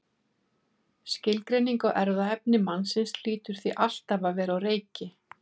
Skilgreining á erfðaefni mannsins hlýtur því alltaf að vera á reiki.